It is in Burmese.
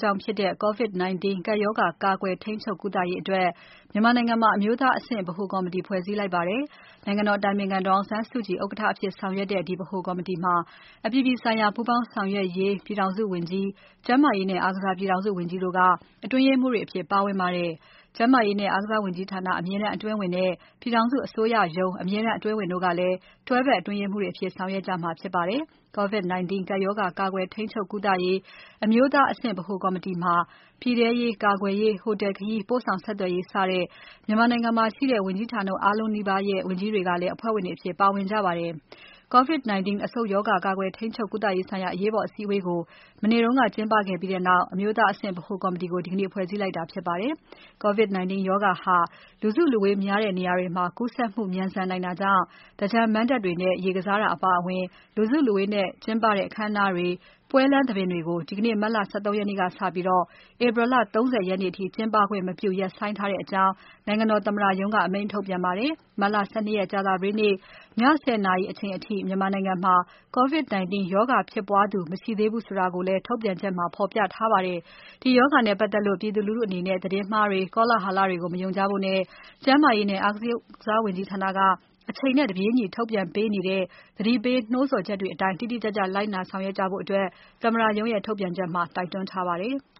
ကြောင့်ဖြစ်တဲ့ COVID-19 ကပ်ရောဂါ ကာကွယ်၊ ထိန်းချုပ်၊ ကုသရေးအတွက် မြန်မာနိုင်ငံမှာ အမျိုးသားအဆင့် ဗဟိုကော်မတီ ဖွဲ့စည်းလိုက်ပါတယ်။ နိုင်ငံတော်အတိုင်ပင်ခံပုဂ္ဂိုလ် ဒေါ်အောင်ဆန်းစုကြည် ဥက္ကဋ္ဌအဖြစ်ဆောင်ရွက်တဲ့ ဒီဗဟိုကော်မတီမှာ အပြည်ပြည်ဆိုင်ရာ ပူးပေါင်းဆောင်ရွက်ရေး ပြည်ထောင်စုဝန်ကြီး၊ ကျန်းမာရေးနဲ့အားကစား ပြည်ထောင်စုဝန်ကြီးတို့က အတွင်းရေးမှူးတွေအဖြစ် ပါဝင်ပါတယ်။ ကျန်းမာရေးနဲ့ အားကစားဝန်ကြီးဌာန အမြဲတမ်းအတွင်းဝန်နဲ့ ပြည်ထောင်စုအစိုးရရုံး အမြဲတမ်းအတွင်းဝန်တို့ကလည်း တွဲဖက်အတွင်းရေးမှူးတွေအဖြစ် ဆောင်ရွက်ကြမှာဖြစ်ပါတယ်။ COVID-19 ကပ်ရောဂါ ကာကွယ်၊ ထိန်းချုပ်၊ ကုသရေး အမျိုးသားအဆင့် ဗဟိုကော်မတီမှာ ပြည်ထဲရေး၊ ကာကွယ်ရေး၊ ဟိုတယ်ခရီး၊ ပို့ဆောင်ဆက်သွယ်ရေး စတဲ့ မြန်မာနိုင်ငံမှာရှိတဲ့ ဝန်ကြီးဌာနအားလုံးနီးပါးကလည်း အဖွဲ့ဝင်တွေအဖြစ် ပါဝင်ကြပါတယ်။ COVID-19 အဆုတ်ရောဂါ ကာကွယ်ထိန်းချုပ်ကုသရေးဆိုင်ရာ အရေးပေါ်အစည်းအဝေးကို မနေ့ကကျင်းပခဲ့ပြီးနောက် အမျိုးသားအဆင့် ဗဟိုကော်မတီကို ဒီကနေ့ ဖွဲ့စည်းလိုက်တာဖြစ်ပါတယ်။ COVID-19 ရောဂါဟာ လူစုလူဝေးများတဲ့နေရာတွေမှာ ကူးစက်မှု မြန်ဆန်နိုင်တာကြောင့် သင်္ကြန်မဏ္ဍပ်တွေနဲ့ရေကစားတာ အပါအဝင် လူစုလူဝေးနဲ့ကျင်းပတဲ့ အခမ်းအနားတွေ၊ ပွဲလမ်းသဘင်တွေကို ဒီနေ့ မတ်လ ၁၃ ရက်နေ့စပြီး ဧပြီလ ၃၀ ရက်နေ့အထိ ကျင်းပခွင့်မပြု ရပ်ဆိုင်းထားတဲ့အကြောင်း နိုင်ငံတော်သမ္မတရုံးက အမိန့်ထုတ်ပြန်ပါတယ်။ မတ်လ ၁၂ ရက် ကြာသပတေးနေ့ ည ၁၀ နာရီအချိန်အထိ မြန်မာနိုင်ငံမှာ COVID-19 ရောဂါဖြစ်ပွားမှု မရှိသေးဘူးဆိုတာကိုလည်း ထုတ်ပြန်ချက်မှာ ဖော်ပြထားပါတယ်။ ဒီရောဂါနဲ့ပတ်သက်လို့ ပြည်သူလူထုအနေနဲ့ သတင်းမှားတွေ၊ ကောလာလဟတွေကို မယုံကြဖို့နဲ့ ကျန်းမာရေးနဲ့ အားကစားဝန်ကြီးဌာနက အချိန်နဲ့တပြေးညီထုတ်ပြန်ပေးနေတဲ့ သတိပေး နှိုးဆော်ချက်ဆောင်ချက်တွေအတိုင်း တိတိကျကျ လိုက်နာဆောင်ရွက်ကြဖို့ သမ္မတရုံးရဲ့ ထုတ်ပြန်ချက်မှာ တိုက်တွန်းပါတယ်။